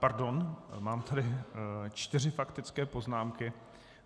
Pardon, mám tady čtyři faktické poznámky.